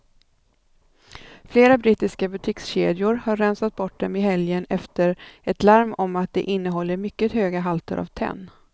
Flera brittiska butikskedjor har rensat bort dem i helgen efter ett larm om att de innehåller mycket höga halter av tenn.